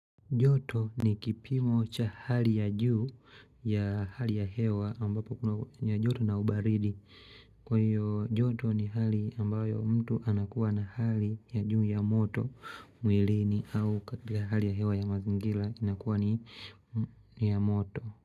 Joto ni kipimo cha hali ya juu ya hali ya hewa ambapo kuna ya joto na ubaridi Kwa hiyo joto ni hali ambayo mtu anakuwa na hali ya juu ya moto mwilini au katika hali ya hewa ya mazingira inakuwa ni ya moto.